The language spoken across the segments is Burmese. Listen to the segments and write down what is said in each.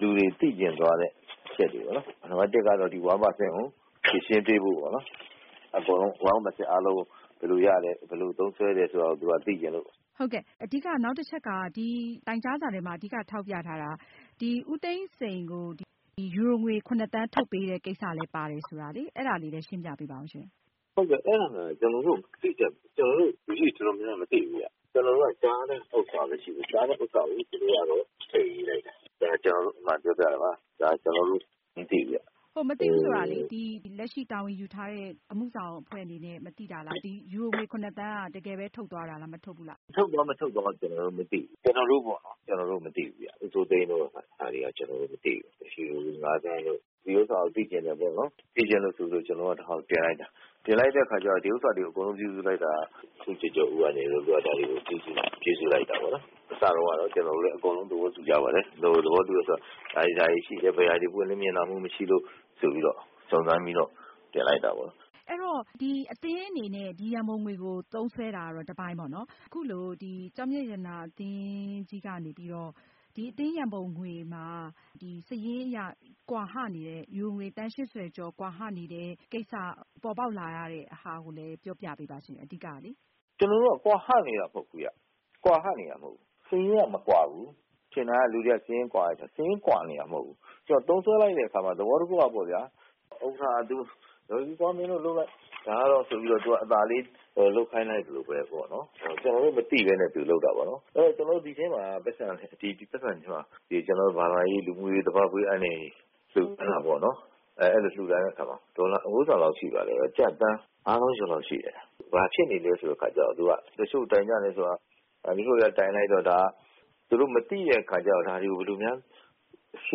လူတွေသိချင်တဲ့အချက်တွေပါ။ နံပါတ် ကတော့ အသင်းရံပုံငွေအဖြစ် ကျောက်မျက်ပြပွဲတွေကနေ ရောင်းရတဲ့ငွေ ကောက်ခံတာကို ဘယ်လို သုံးစွဲလဲ ဆိုတာ ဖြေရှင်းပေးဖို့ပါ။ အဲတော့ တိုင်ကြားစာထဲမှာ အဓိကထောက်ပြထားတာက ဦးသိန်းစိန်ကို ယူရိုငွေ သန်းထုတ်ပေးတဲ့ကိစ္စလဲပါတယ်ဆိုတာ ရှင်းပြပေးပါအုံးရှင့်။ အဲဒီကိစ္စကို ကျနော်တို့လူကြီးတွေ တော်တော်များများမသိဘူးဗျ။ ဒီလိုပဲကြားတဲ့ကိစ္စကို စာထဲမှာ ထည့်ရေးလိုက်တာ။ ဒါအမှန်ကိုပြောပြတာပါ။ ကျနော်တို့မသိဘူးဗျ။ မသိဘူးဆိုတာ လက်ရှိတာဝန်ယူထားတဲ့ အမှုဆောင်အဖွဲ့က မသိတာလား။ ဒီယူရိုငွေ သန်းက တကယ်ပဲထုတ်သွားတာလား၊ မထုတ်ဘူးလားရှင့်။ ထုတ်သွား၊ မထုတ်သွားတာ ကျနော်တို့မသိဘူး။ ဦးစိုးသိန်းတို့ ယူရိုငွေ သန်းထုတ်သွားတာတို့ ကျနော်တို့မသိဘူး။ ကျနော်တို့က ဒီရံပုံငွေတွေသုံးစွဲတာကို သိချင်တယ်ပေါ့နော်။ သိချင်တယ်ဆိုပြီး တိုင်ကြားစာတင်လိုက်တာပါ။ တင်လိုက်တဲ့အခါကျတော့ ဒီကိစ္စတွေကို အကုန်ပြုစုတာက ဦးကျော်ကျော်ဦးက ဒါတွေကိုပြုစုတာဖြစ်ပါတယ်။ အစတုန်းကတော့ ကျနော်တို့လည်း အကုန်လုံးသဘောတူကြပါတယ်။ သဘောတူတယ်ဆိုတာ ဒါတွေတော့ရှိနေတယ်၊ ဘယ်အရာတွေ ပွင့်လင်းမြင်သာမှုမရှိလို့ ဆိုပြီး စုံစမ်းပြီးတင်လိုက်တာပါ။ အသင်းအနေနဲ့ ဒီရံပုံငွေကို သုံးစွဲတာက တပိုင်း၊ အခုလို ကျောက်မျက်ရတနာအသင်းကြီးရဲ့ ရံပုံငွေမှာ စာရင်းအရ ယူရိုငွေ သန်း ကျော်ကွာဟနေတဲ့ ကိစ္စပေါ်ပေါက်လာရတဲ့ အကြောင်းကိုပြောပြပေးပါရှင့်။ ကျနော်တို့က ကွာဟနေတာမဟုတ်ဘူး။ စာရင်းကမကွာဘူး။ ထင်တာက လူတွေက စာရင်းကွာတယ်ပေါ့။ စာရင်းကွာတာမဟုတ်ပါဘူး။ သုံးစွဲတဲ့အခါမှာ သဘောတခုကတော့ ဥက္ကဌက ဒါကတော့ မင်းတို့လုပ်လိုက်ဆိုပြီး အသာလေးလုပ်ခိုင်းလိုက်တယ်။ ဒါကိုကျနော်တို့မသိပဲ သူကလုပ်တာပေါ့နော်။ ဒီရံပုံငွေတွေထဲမှာ ဘာသာရေး၊ လူမှုရေး၊ နောက် သဘာဝဘေးအန္တရာယ်တွေနဲ့ပတ်သက်လို့ လှုဒါန်းတာ မြန်မာငွေကျပ်သန်းငါးသောင်းကျော်လောက်ရှိပါတယ်။ ဘာဖြစ်နေလဲဆိုတော့ တချို့တိုင်ကြတယ်ဆိုတာ သူတို့မသိတဲ့အခါကျတော့ ဒါတွေကိုဘယ်လိုများ..ရှ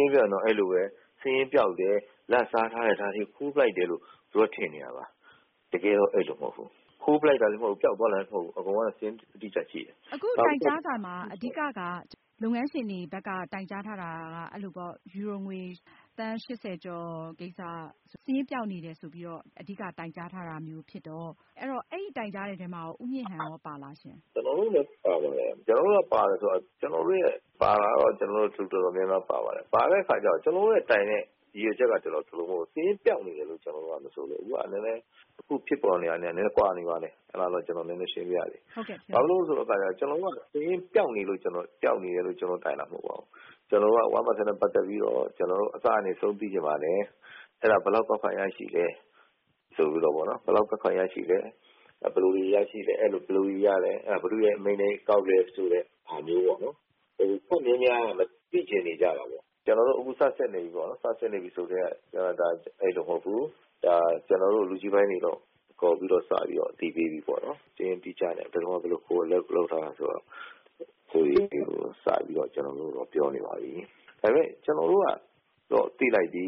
င်းရှင်းပြောရရင်တော့ စာရင်းပျောက်တယ်၊ လာဘ်စားထားတယ်၊ ဒါတွေကို ခိုးလိုက်တယ်လို့ သူတို့ကထင်နေကြတာပါ။ တကယ်တော့ အဲလိုမဟုတ်ဘူး။ ခိုးလိုက်တာလဲမဟုတ်ဘူး။ ပျောက်သွားတာလဲမဟုတ်ဘူး။ အကုန်လုံးစာရင်းအတိအကျရှိတယ်။ အခုတိုင်ကြားစာမှာ အဓိကက လုပ်ငန်းရှင်တွေဘက်က တိုင်ကြားထားတာက ယူရိုငွေသန်း ကျော် စာရင်းပျောက်နေတယ်ဆိုပြီး အဓိကတိုင်ကြားထားတာမျိုးဖြစ်တော့ အဲဒီတိုင်ကြားမှုမှာ ဦးမြင့်ဟန်ရောပါပါသလားရှင့်။ ကျနော်တို့လည်း ပါပါတယ်။ လူတော်တော်များများပါပါတယ်။ ပါတယ်ဆိုတာက ကျနော်တို့ရဲ့တိုင်တဲ့ ရည်ရွယ်ချက်က စာရင်းပျောက်နေတယ်လို့ ကျနော်တို့က မဆိုလိုဘူး။ အခုသတင်းတွေထွက်နေတာနဲ့ နဲနဲကွာနေပါတယ်။ ကျနော်ရှင်းပြပါရစေ။ စာရင်းပျောက်နေတယ်လို့ ကျနော်တို့က တိုင်တာမဟုတ်ပါဘူး။ ဒီ ၁%နှုန်းနဲ့ပတ်သက်ပြီးတော့ ကျနော်တို့ အစကနေ အဆုံးသိချင်ပါတယ်။ ဘယ်လောက်ကောက်ခံရရှိလဲ။ ဘယ်လိုတွေရရှိလဲ။ ဘယ်သူရဲ့အမိန့်နဲ့ကောက်လဲ။ လူအတော်များများက သိချင်နေကြတာပေါ့။ ကျနော်တို့ အခုစပြီးစစ်နေပါပြီ။ စစ်နေပြီဆိုကတည်းက အဲဒီလိုမဟုတ်ဘူး။ ကျနော်တို့ လူကြီးပိုင်းတွေကိုစခေါ်ပြီး အသိပေးပြီးပေါ့။ စာရင်းအတိအကျနဲ့ပါ။ ဘယ်တုန်းက ဘယ်လိုလုပ်သလဲဆိုပြီး အတိအကျ ကျနော်တို့ကို အသိပေးနေပါပြီ။ ကျနော်တို့ကတော့ သိလိုက်ပြီ